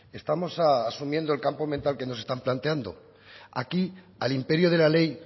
estamos asumiendo el campo mental que nos están planteando aquí al imperio de la ley